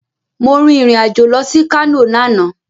Mo rìn irìn-àjò lọ sí Kano lánàá